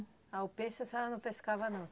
Ah, o peixe a senhora não pescava não?